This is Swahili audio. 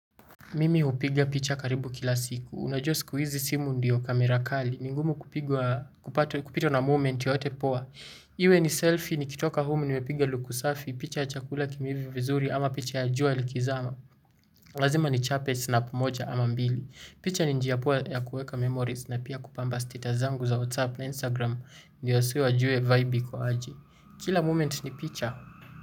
Mimi hupiga picha karibu kila siku. Unajua siku hizi simu ndiyo kamera kali. Ni ngumu kupigwa kupitwa na moment yoyote poa. Iwe ni selfie. Nikitoka humu nimepiga luku safi. Picha ya chakula kimeiva vizuri ama picha ya jua likizama. Lazima nichape snap moja ama mbili. Picha ni njia poa ya kuweka memories na pia kupamba status zangu za WhatsApp na Instagram. Ndiyo wasee wajue vibe iko aje. Kila moment ni picha.